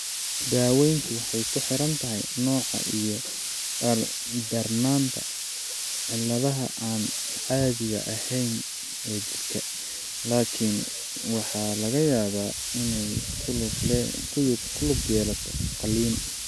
Daaweyntu waxay ku xiran tahay nooca iyo darnaanta cilladaha aan caadiga ahayn ee jira, laakiin waxaa laga yaabaa inay ku lug yeelato qalliin.